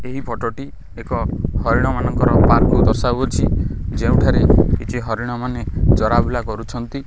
ଏହି ଫଟଟି ଏକ ହରିଣ ମାନଙ୍କର ପାର୍କକୁ ଦର୍ଶାଉ ଅଛି ଯେଉଁଠାରେ କିଛି ହରିଣ ମାନେ ଚରାବୁଲା କରୁଛନ୍ତି।